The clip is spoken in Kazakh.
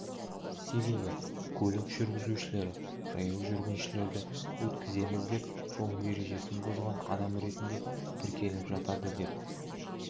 себебі көлік жүргізушілері жаяу жүргіншілерді өткіземіз деп жол ережесін бұзған адам ретінде тіркеліп жатады деп